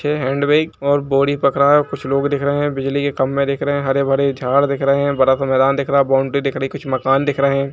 पीछे hand bag और बोरी पकड़ा है और कुछ लोग दिख रहे हैं बिजली के खंबे दिख रहे हैं हरे-भरे झाड़ दिख रहे हैं बड़ा सा मैदान दिख रहा है बॉउन्डरी दिख रही है कुछ मकान दिख रहे हैं।